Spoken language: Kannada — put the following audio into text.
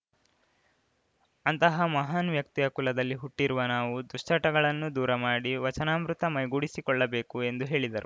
ಅಂತಹ ಮಹಾನ್‌ ವ್ಯಕ್ತಿಯ ಕುಲದಲ್ಲಿ ಹುಟ್ಟಿರುವ ನಾವು ದುಶ್ಚಟಗಳನ್ನು ದೂರ ಮಾಡಿ ವಚನಾಮೃತ ಮೈಗೂಡಿಸಿಕೊಳ್ಳಬೇಕು ಎಂದು ಹೇಳಿದರು